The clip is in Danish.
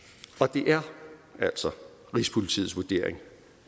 det er altså rigspolitiets vurdering